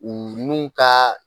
U n'u ka